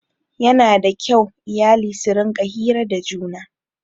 Yana da kyau iyali su rinƙa hira da juna.